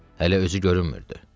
Hələ özü görünmürdü.